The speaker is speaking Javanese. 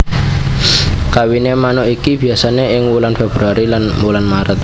Kawiné manuk iki biasané ing wulan februari lan wulan Méret